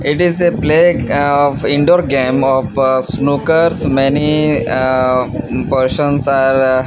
it is a play of indoor game of snoockers many ahh persons are--